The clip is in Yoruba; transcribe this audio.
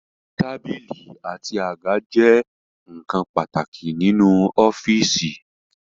Tábìlì àti àga jẹ́ ǹkan pàtàkì nínú ọ́fìsì